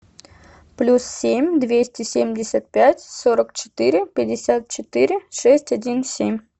плюс семь двести семьдесят пять сорок четыре пятьдесят четыре шесть один семь